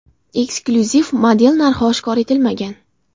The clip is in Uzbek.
Eksklyuziv model narxi oshkor etilmagan.